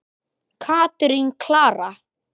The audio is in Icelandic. Katrín Klara.